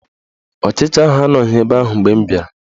Ọchicha ahụ anọghị ebe ahụ mgbe m bịara